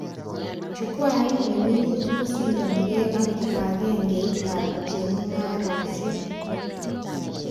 Chukwait nemiboch kosindanike ak kibagengeitab chemugareshek